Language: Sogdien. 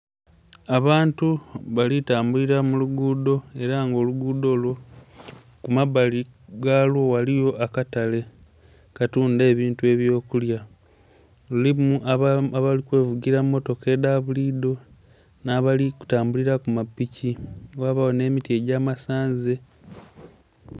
Abantu Bali kutambulira muluguudo era nga oluguudo olyo kumabbali ghaalyo ghaliwo akatale akatunda ebintu ebyokulya, lulimu abali kwevugila mumotoka edha buliido nabali kutambulira kumapiki ghabaawo n'emiti egy'amasanalaze